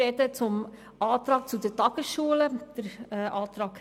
Ich spreche zum Antrag 4 betreffend die Tagesschulen.